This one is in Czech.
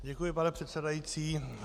Děkuji, pane předsedající.